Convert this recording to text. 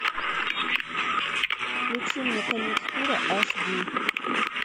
включи мне конец тура аш ди